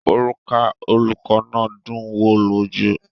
Òrùka olùkọ́ náà dùn ún wo lójú.